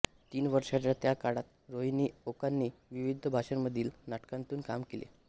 तीन वर्षाच्या त्या काळात रोहिणी ओकांनी विविध भाषांमधील नाटकांतून कामे केली